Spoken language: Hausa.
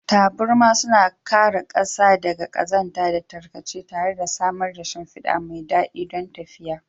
Taburma suna kare ƙasa daga ƙazanta da tarkace tare da samar da shimfida mai daɗi don tafiya.